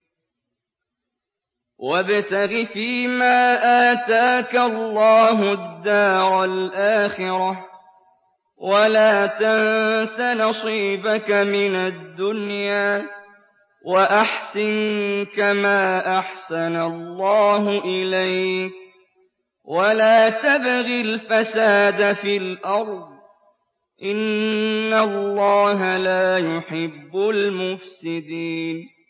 وَابْتَغِ فِيمَا آتَاكَ اللَّهُ الدَّارَ الْآخِرَةَ ۖ وَلَا تَنسَ نَصِيبَكَ مِنَ الدُّنْيَا ۖ وَأَحْسِن كَمَا أَحْسَنَ اللَّهُ إِلَيْكَ ۖ وَلَا تَبْغِ الْفَسَادَ فِي الْأَرْضِ ۖ إِنَّ اللَّهَ لَا يُحِبُّ الْمُفْسِدِينَ